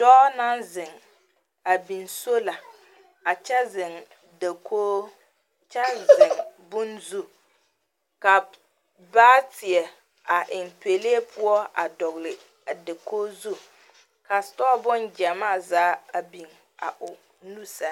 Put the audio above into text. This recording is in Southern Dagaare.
Doɔ na zeŋ . A biŋ sola a kyɛ zeŋ dakoo. Kyɛ zeŋ boŋ zu. A baateɛ a eŋ pɛlee poʊ a dogle a dakoozu. Ka sutɔ boŋ gyamaa zaa a biŋ a o nu sɛŋ